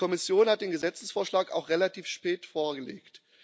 Die Kommission hat den Gesetzesvorschlag auch relativ spät vorgelegt.